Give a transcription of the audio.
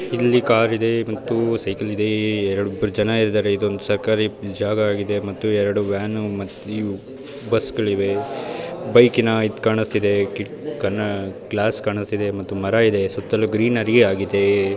ಇಲ್ಲಿ ಕಾರ್ ಇದೆ ಮತ್ತು ಸೈಕಲ್ ಇದೆ ಏರ್ ಇಬ್ಬರು ಜನ ಇದ್ದಾರೆ ಇದೊಂದು ಸರ್ಕಾರಿ ಜಾಗ ಆಗಿದೆ ಮತ್ತು ಎರಡು ವ್ಯಾನ್ ಮತ್ತು ಬಸ್ ಗಳಿವೆ ಬೈಕ್ ನ ಇದ್ ಕಾಣಿಸ್ತಿದೆ ಕಿಟ್ ಕನಾ ಗ್ಲಾಸ್ ಕಾಣಿಸ್ತಿದೆ ಮತ್ತು ಮರ ಇದೆ ಸುತ್ತಲೂ ಗ್ರೀನರಿ ಆಗಿದೆ